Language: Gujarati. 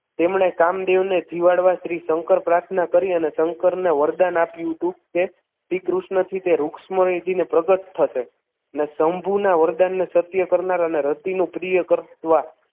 તેમણે કામદેવ ને જીવાડવા શ્રી શંકર પ્રાર્થના કરી અને શંકર ને વરદાન આપ્યું હતું કે શ્રીકૃષ્ણ થી તે રુક્ષ્મણીજી ને પ્રગટ થશે ને શંભુના વરદાન ને સત્ય કરનાર અને રતિનું પ્રિય કરવા